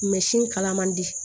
kala man di